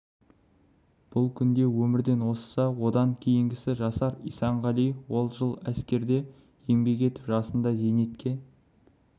бұл күнде өмірден озса одан кейінгісі жасар исанғали ол жыл әскерде еңбек етіп жасында зейнетке